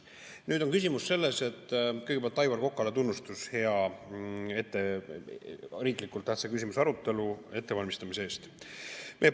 Nüüd on küsimus selles, et kõigepealt Aivar Kokale tunnustus hea riiklikult tähtsa küsimuse arutelu ettevalmistamise eest.